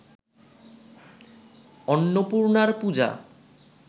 অন্নপূর্ণার পূজা